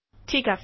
ঠিক আছে